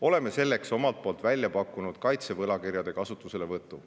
Oleme selleks omalt poolt välja pakkunud kaitsevõlakirjade kasutuselevõtu.